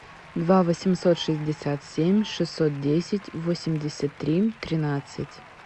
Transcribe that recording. два восемьсот шестьдесят семь шестьсот десять восемьдесят три тринадцать